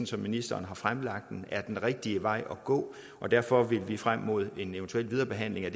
som ministeren har fremlagt er den rigtige vej at gå og derfor vil vi frem mod en eventuel viderebehandling af